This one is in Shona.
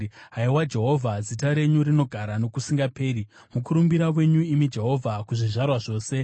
Haiwa Jehovha, zita renyu rinogara nokusingaperi, mukurumbira wenyu, imi Jehovha, kuzvizvarwa zvose.